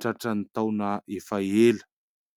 tratra ny taona efa ela.